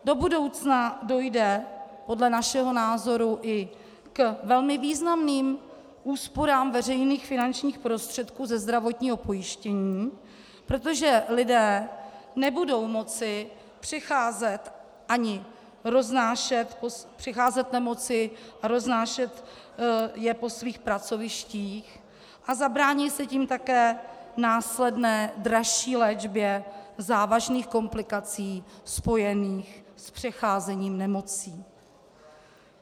Do budoucna dojde podle našeho názoru i k velmi významným úsporám veřejných finančních prostředků ze zdravotního pojištění, protože lidé nebudou moci přecházet nemoci a roznášet je po svých pracovištích a zabrání se tím také následné dražší léčbě závažných komplikací spojených s přecházením nemocí.